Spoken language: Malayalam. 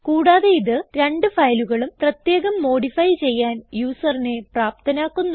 കൂടാതെ ഇത് രണ്ട് ഫയലുകളും പ്രത്യേകം മോഡിഫൈ ചെയ്യാൻ യൂസറിനെ പ്രാപ്തനാക്കുന്നു